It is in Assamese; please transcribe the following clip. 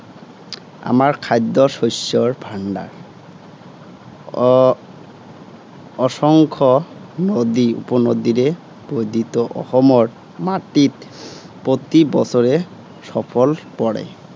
আমাৰ খাদ্য শস্যৰ ভাণ্ডাৰ। আহ অসংখ্য নদী উপনদীৰে বধিত অসমৰ মাটিত প্ৰতি বছৰে সফল পৰে।